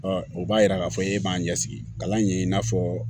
o b'a yira k'a fɔ e b'a ɲɛ sigi kalan in ye i n'a fɔ